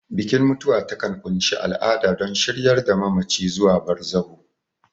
Bikin mutuwa takan ƙunshi al'ada don shiryar da mamaci zuwa barzahu.